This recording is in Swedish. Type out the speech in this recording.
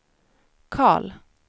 Karl